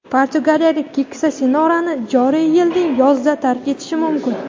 portugaliyalik "keksa sinora"ni joriy yilning yozida tark etishi mumkin.